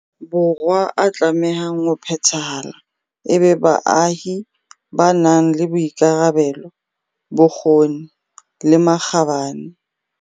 Borwa a tlamehang ho phethahala e be baahi ba nang le boikarabelo, bokgoni le makgabane.